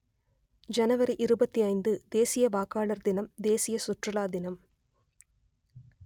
ஜனவரி இருபத்தி ஐந்து தேசிய வாக்காளர் தினம் தேசிய சுற்றுலா தினம்